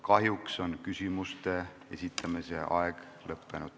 Kahjuks on küsimuste esitamise aeg lõppenud.